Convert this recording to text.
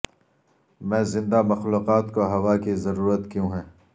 میں زندہ مخلوقات کو ہوا کی ضرورت کیوں ہے